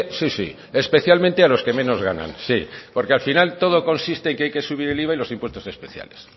sí sí especialmente a los que menos ganan sí porque al final todo consiste en que hay que subir el iva y los impuestos especiales